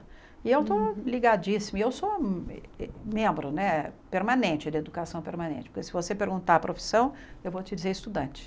E eu estou ligadíssima, eu sou membro né permanente da educação permanente, porque se você perguntar a profissão, eu vou te dizer estudante.